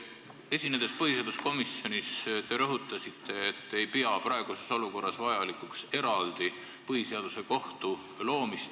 Esinedes põhiseaduskomisjonis te rõhutasite, et te ei pea praeguses olukorras vajalikuks eraldi põhiseaduslikkuse järelevalve kohtu loomist.